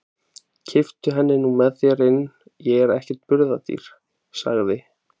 Kipptu henni nú með þér inn, ég er ekkert burðardýr, sagði